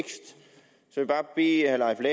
jeg bare bede herre